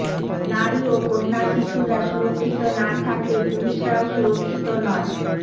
নারী ও কন্যাশিশুরা সুরক্ষিত না থাকলে পুরুষরাও সুরক্ষিত নয়